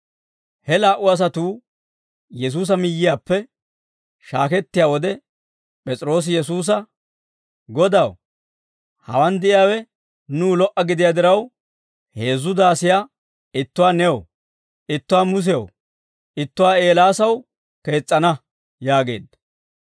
He laa"u asatuu, Yesuusa miyyiyaappe shaakettiyaa wode, P'es'iroosi Yesuusa, «Godaw, hawaan de'iyaawe nuw lo"a gidiyaa diraw, heezzu daasiyaa ittuwaa new, ittuwaa Musew, ittuwaa Eelaasaw kees's'ana» yaageedda.